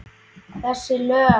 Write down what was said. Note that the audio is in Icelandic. Þessi lög?